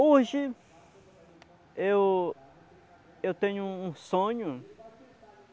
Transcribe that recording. Hoje eu eu tenho um um sonho.